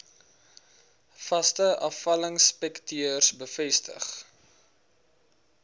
vaste afvalinspekteurs bevestig